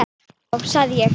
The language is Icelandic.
Já, já, sagði ég.